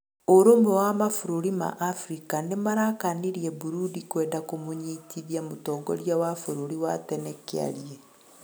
Ũrumwe wa mabũrũri ma Afrika nĩmarakanĩrĩe Burundi kwenda kũmũnyĩtĩthĩa mũtongorĩa wa bũrũrĩ wa tene Kĩarĩe